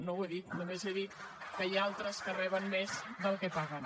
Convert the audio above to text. no ho he dit només he dit que hi ha altres que reben més del que paguen